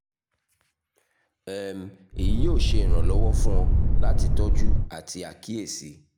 um eyi yoo ṣe iranlọwọ fun ọ lati tọju ati akiyesi